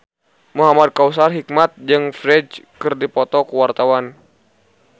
Muhamad Kautsar Hikmat jeung Ferdge keur dipoto ku wartawan